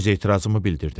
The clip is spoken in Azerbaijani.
öz etirazımı bildirdim.